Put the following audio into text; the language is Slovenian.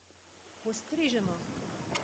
Postrežemo!